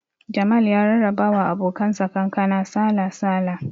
Jamal ya rarraba wa abokan sa kankana sala-sala